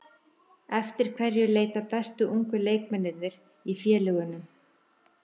Eftir hverju leita bestu ungu leikmennirnir í félögunum?